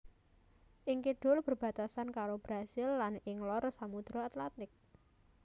Ing kidul berbatasan karo Brasil lan ing lor Samudra Atlantik